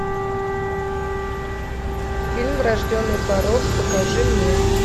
фильм врожденный порок покажи мне